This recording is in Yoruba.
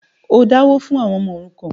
o dáwó fún “ àwọn ọmọ òrukàn”.?